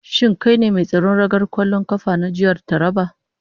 Shin kai ne mai tsaron ragar kwallon kafa na jihar Taraba?